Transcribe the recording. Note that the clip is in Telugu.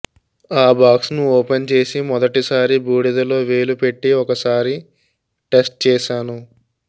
ఆ బాక్స్ను ఓపెన్ చేసి మొదటిసారి బూడిదలో వేలు పెట్టి ఒకసారి టేస్ట్ చేశాను